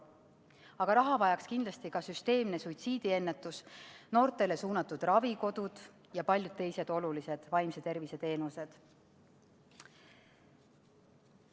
Aga raha vajaks kindlasti ka süsteemne suitsiidiennetus, noortele suunatud ravikodud ja paljud teised olulised vaimse tervise teenused.